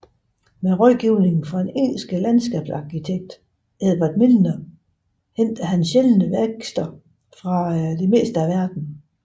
Med rådgivning fra den engelske landskabsarkitekt Edward Milner hentede han sjældne vækster fra det meste af verden